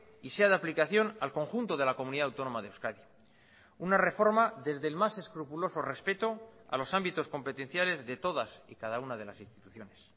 y sea de aplicación al conjunto de la comunidad autónoma de euskadi una reforma desde el más escrupuloso respeto a los ámbitos competenciales de todas y cada una de las instituciones